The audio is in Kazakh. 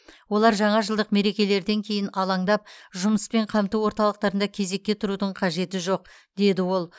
олар жаңа жылдық мерекелерден кейін алаңдап жұмыспен қамту орталықтарында кезек құрудың қажеті жоқ деді ол